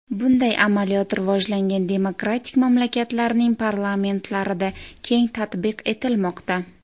Bunday amaliyot rivojlangan demokratik mamlakatlarning parlamentlarida keng tatbiq etilmoqda.